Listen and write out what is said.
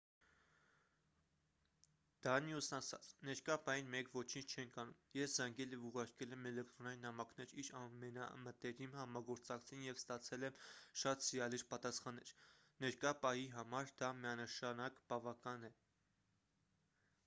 դանիուսն ասաց ներկա պահին մենք ոչինչ չենք անում ես զանգել և ուղարկել եմ էլեկտրոնային նամակներ իր ամենամտերիմ համագործակցին և ստացել եմ շատ սիրալիր պատասխաններ ներկա պահի համար դա միանշանակ բավական է